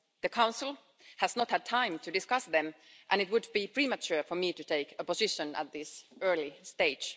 The Council has not had time to discuss them, and it would be premature for me to take a position at this early stage.